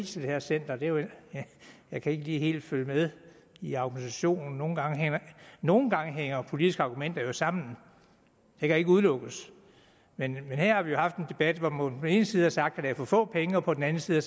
til det her center jeg kan ikke helt følge med i argumentationen nogle nogle gange hænger politiske argumenter jo sammen det kan ikke udelukkes men her har vi haft en debat hvor man på den ene side har sagt at der er for få penge og på den anden side